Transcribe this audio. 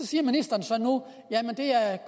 siger ministeren så at det er